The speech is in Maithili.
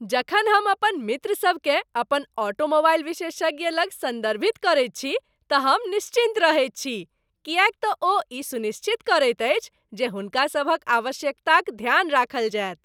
जखन हम अपन मित्रसभकेँ अपन ऑटोमोबाइल विशेषज्ञ लग सन्दर्भित करैत छी तँ हम निश्चिन्त रहैत छी किएक तँ ओ ई सुनिश्चित करैत अछि जे हुनका सभक आवश्यकताक ध्यान राखल जायत।